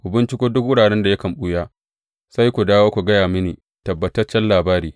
Ku binciko duk wuraren da yakan ɓuya, sai ku dawo ku gaya mini tabbataccen labari.